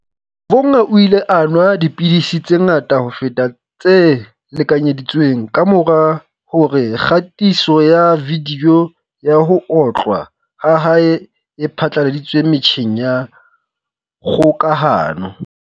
Vhunga o ile a nwa dipidisi tse ngata ho feta tse lekanyedi tsweng kamora hore kgatiso ya vidiyo ya ho otlwa ha hae e phatlalatswe metjheng ya kgokahano.